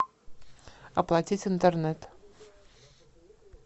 оплатить интернет